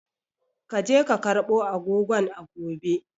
Ka je ka karbo agogon a gobe!